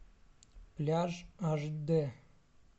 пляж аш дэ